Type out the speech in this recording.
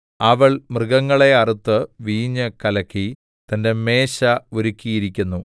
അവൾ മൃഗങ്ങളെ അറുത്ത് വീഞ്ഞ് കലക്കി തന്റെ മേശ ഒരുക്കിയിരിക്കുന്നു